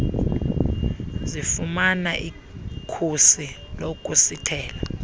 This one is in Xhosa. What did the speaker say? zifumana ikhusi lokusithela